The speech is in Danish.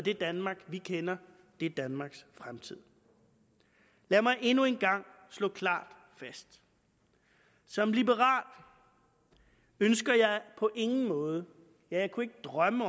det danmark vi kender det danmarks fremtid lad mig endnu en gang slå klart fast som liberal ønsker jeg på ingen måde ja jeg kunne ikke drømme